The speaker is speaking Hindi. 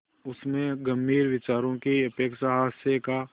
उसमें गंभीर विचारों की अपेक्षा हास्य का